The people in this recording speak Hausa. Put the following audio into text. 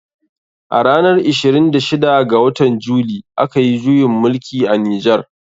A ranar ishirin da shida ga watan july. a kayi juyin mulki a nijar.